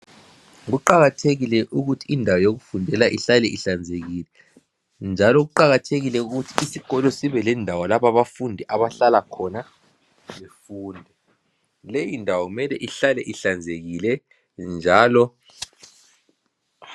Kuqakathekile ukuthi indawo yokufundela ihlale ihlanzekile. Njalo kuqakathekile ukuthi isikolo sibe lendawo lapha abafundi abahlala khona befunda .Leyindawo mele ihlale ihlanzekile njalo.